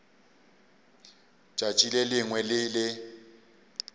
tšatši le lengwe le le